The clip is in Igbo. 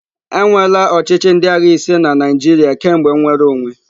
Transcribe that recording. Enweela ochịchị ndị agha ise na Naịjirịa kemgbe nnwere onwe.